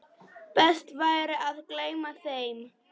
Best væri að gleyma þeim.